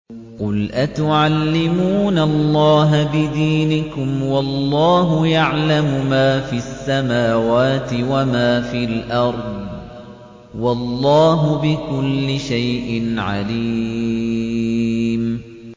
قُلْ أَتُعَلِّمُونَ اللَّهَ بِدِينِكُمْ وَاللَّهُ يَعْلَمُ مَا فِي السَّمَاوَاتِ وَمَا فِي الْأَرْضِ ۚ وَاللَّهُ بِكُلِّ شَيْءٍ عَلِيمٌ